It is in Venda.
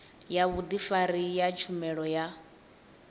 ya vhudifari ya tshumelo ya